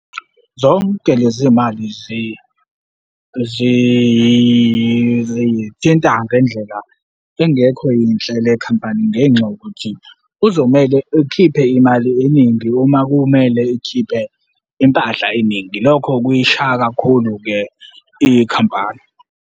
Zonke lezi mali zithinta ngendlela engekho yinhle le khampani ngenxa yokuthi kuzomele ikhiphe imali eningi uma kumele ikhiphe impahla eningi. Lokho kuyishaya kakhulu-ke ikhampani.